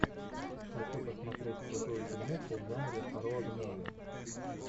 хочу посмотреть крутую фильмуху в жанре роуд муви